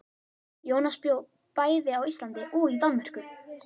Jónas bjó bæði á Íslandi og í Danmörku.